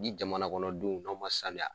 Ni jamanakɔnɔdenw n'aw ma saniya.